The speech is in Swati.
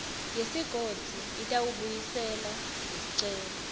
yesigodzi itawubuyisela lesicelo